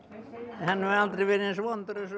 hann hefur aldrei verið eins vondur og